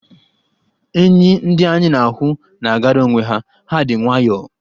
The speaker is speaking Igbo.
Enyì ndị anyị na-ahụ na-agara onwe ha, ha dị nwayọ.